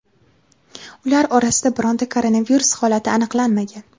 Ular orasida bironta koronavirus holati aniqlanmagan.